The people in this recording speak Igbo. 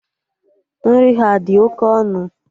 Nri ha adị oké ọnụ?